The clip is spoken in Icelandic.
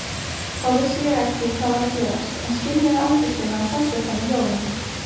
Þá vissi ég ekki hvað var að gerast en skynjaði angistina og sársaukann í hljóðunum.